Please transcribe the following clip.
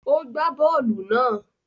O gba bóòlù náà.